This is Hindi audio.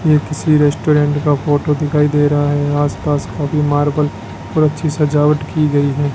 ये किसी रेस्टोरेंट का फोटो दिखाई दे रहा है आसपास काफी मार्बल और अच्छी सजावट की गई है।